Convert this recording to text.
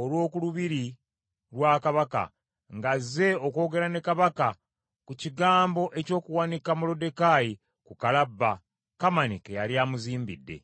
olw’oku lubiri lwa Kabaka, nga azze okwogera ne Kabaka ku kigambo eky’okuwanika Moluddekaayi ku kalabba Kamani ke yali amuzimbidde.